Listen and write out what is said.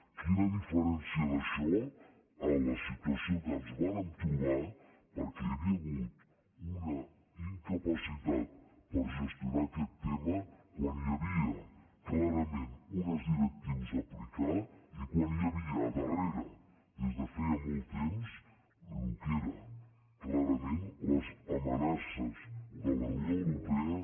quina diferència d’això amb la situació que ens vàrem trobar perquè hi havia hagut una incapacitat per gestionar aquest tema quan hi havia clarament unes directius a aplicar i quan hi havia al darrere des de feia molt temps el que eren clarament les amenaces de la unió europea